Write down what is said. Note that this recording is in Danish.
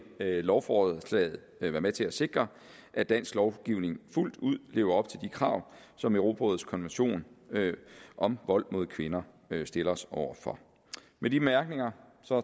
lovforslaget være med til at sikre at dansk lovgivning fuldt ud lever op til de krav som europarådets konvention om vold mod kvinder stiller os over for med de bemærkninger